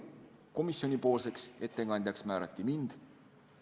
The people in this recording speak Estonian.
Komisjoni ettekandjaks määrati mind.